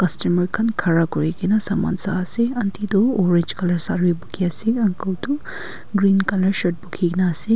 customer khan khara kuri kena saman sai ase aunty tu orange colour saree pukhi ase uncle tu green colour shirt pukhi na ase.